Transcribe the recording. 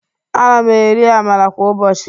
Ana m eri Amala kwa ụbọchị